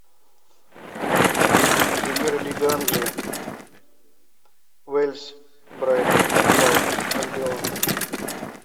премьер лига англия уэльс брайтон энд хоув альбион